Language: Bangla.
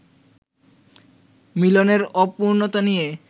মিলনের অপূর্ণতা নিয়ে